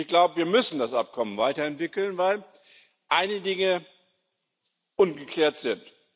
Und ich glaube, wir müssen das Abkommen weiterentwickeln, weil einige Dinge ungeklärt sind.